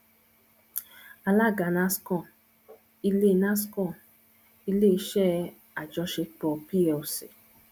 alága nascon ile nascon ile iṣẹ ajọṣepọ plc